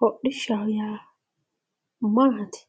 hodhishshaho yaa maati?